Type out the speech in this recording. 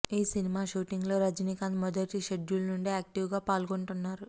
ఈ సినిమా షూటింగ్ లో రజినీకాంత్ మొదటి షెడ్యూల్ నుండే యాక్టీవ్ గా పాల్గొంటున్నారు